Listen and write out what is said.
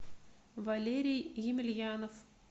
валерий емельянов